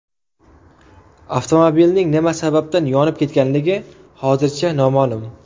Avtomobilning nima sababdan yonib ketganligi hozircha noma’lum.